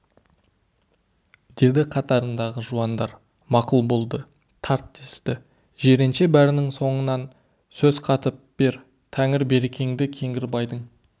деді қатарындағы жуандар мақұл болды тарт десті жиренше бәрінің соңынан сөз қатып бер тәңір берекеңді кеңгірбайдың